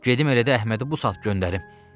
Gedim elə də Əhmədi bu saat göndərim.